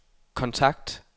kontakt